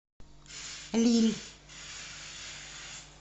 лилль